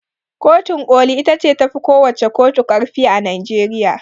Kotun ƙoli ita ce tafi kowacce ƙotu ƙarfi a Najeriya.